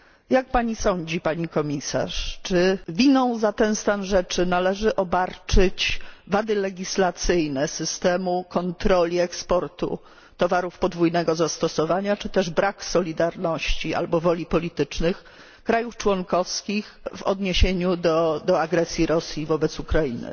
Jak pani sądzi, pani Komisarz, czy winą za ten stan rzeczy należy obarczyć wady legislacyjne systemu kontroli eksportu towarów podwójnego zastosowania czy też brak solidarności albo woli politycznej krajów członkowskich w odniesieniu do agresji Rosji wobec Ukrainy?